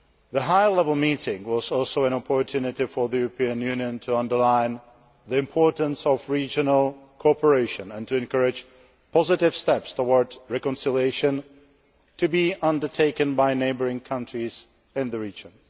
The high level meeting was also an opportunity for the European Union to underline the importance of regional cooperation and to encourage positive steps towards reconciliation to be undertaken by neighbouring countries in the region.